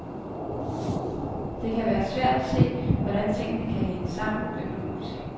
Det kan være svært at se, hvordan tingene kan hænge sammen økonomisk.